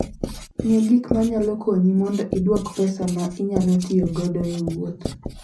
Ng'e Gik Manyalo Konyi Mondo idwuok pesa ma inyalotiyogodo e wuoth